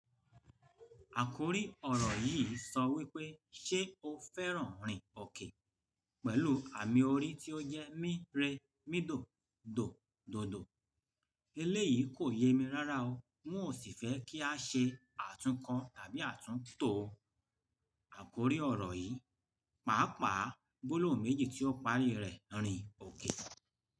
Àkórí ọ̀rọ̀ yìí sọ wípé "ṣé o fẹ́ràn rìn òkè?" Pẹ̀lú àmì orí tí ó jẹ́ mí re, mídò, dò, dòdò. Eléyìí kò ye mi rárá o, wọn ó sì fẹ́ kí a ṣe àtunkọ tàbí àtúntò àkórí ọ̀rọ̀ yìí. Pàápàá, gbólóhùn méjì tí ó parí rẹ̀, rìn òkè.